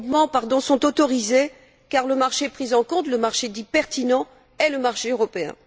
Ces regroupements sont autorisés, car le marché pris en compte, le marché dit pertinent, est le marché européen.